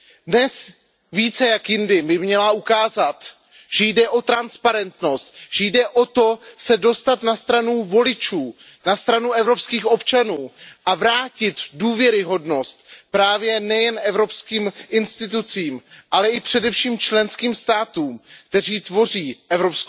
Dnes více než jindy by měla ukázat, že jde o transparentnost, že jde o to se dostat na stranu voličů, na stranu evropských občanů a vrátit důvěryhodnost právě nejen evropským institucím, ale i především členským státům, které tvoří EU.